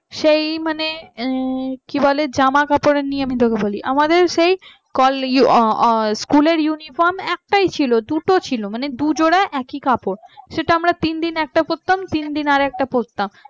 সে মানে কি বলে জামা কাপড় নিয়ে তোকে বলি আমাদের সেই কল ই আ আ school এর uniform একটাই ছিল দুটো ছিল মানে দু জোড়া একই কাপড় সেটা আমরা তিন দিন একটা পড়তাম তিন দিন আর একটা পড়তাম